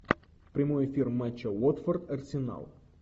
прямой эфир матча уотфорд арсенал